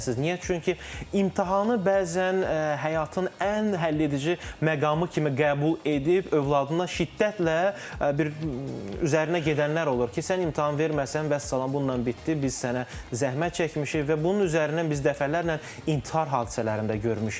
Niyə? Çünki imtahanı bəzən həyatın ən həlledici məqamı kimi qəbul edib, övladına şiddətlə bir üzərinə gedənlər olur ki, sən imtahan verməsən vəssalam, bununla bitdi, biz sənə zəhmət çəkmişik və bunun üzərindən biz dəfələrlə intihar hadisələrində görmüşük.